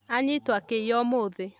Anyitwo akĩiya ũmũthĩ